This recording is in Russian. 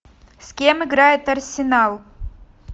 с кем играет арсенал